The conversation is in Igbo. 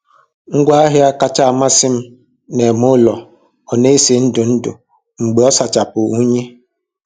Ngwa ahịa kasị amasị m na - eme ụlọ ọ na-esi ndụ ndụ mgbe ọ sachapụ unyi